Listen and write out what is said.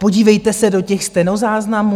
Podívejte se do těch stenozáznamů.